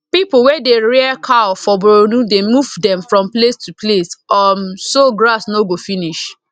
people wey dey rear cow for borno dey move them from place to place um so grass no go finish